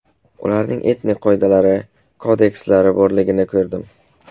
Ularning etika qoidalari, kodekslari borligini ko‘rdim.